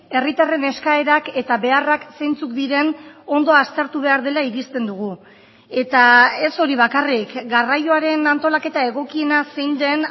herritarren eskaerak eta beharrak zeintzuk diren ondo aztertu behar dela irizten dugu eta ez hori bakarrik garraioaren antolaketa egokiena zein den